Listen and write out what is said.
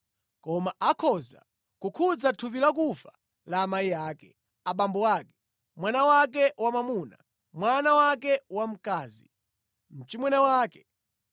Koma akhoza kukhudza thupi lakufa la amayi ake, abambo ake, mwana wake wamwamuna, mwana wake wamkazi, mchimwene wake,